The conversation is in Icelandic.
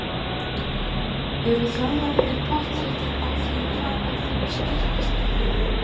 Eru þjálfararnir pottþéttir á því hvað er þeirra sterkasta lið?